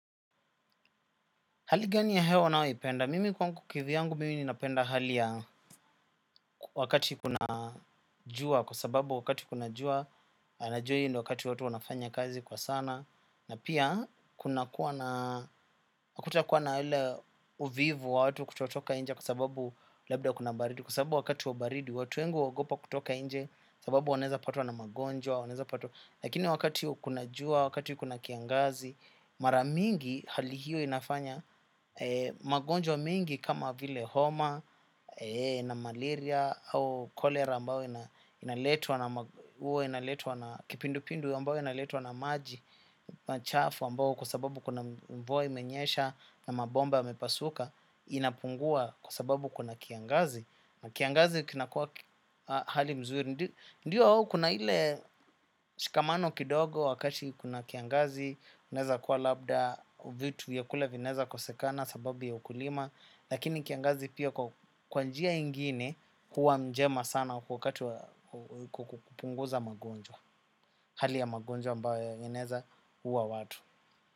Hali gani ya hewa ninayo ipenda? Mimi kwangu kivyangu mimi ninapenda hali ya wakati kuna jua, kwa sababu wakati kuna jua, na najua hii ndio wakati watu wanafanya kazi kwa sana, na pia kuna kuwa na uvivu wa watu kutotoka nje kwa sababu labda kuna baridi, kwa sababu wakati wa baridi watu wengi huogopa kutoka nje, sababu wanaweza kupatwa na magonjwa, wanaweza pata. Lakini wakati huwa kuna jua, wakati kuna kiangazi, mara mingi hali hiyo inafanya magonjwa mengi kama vile homa na malaria au cholera mbayo inaletwa na maji, machafu mbayo kwa sababu kuna mvua imenyesha na mabomba yamepasuka inapungua kwa sababu kuna kiangazi. Na kiangazi kinakuwa hali nzuri, ndiyo kuna ile shikamano kidogo wakati kuna kiangazi, kunaweza kuwa labda, vitu vyakula vinaweza kosekana sababu ya ukulima, lakini kiangazi pia kwa njia nyingine huwa njema sana wakati wa kupunguza magonjwa, hali ya magonjwa ambayo yanaweza kuua watu.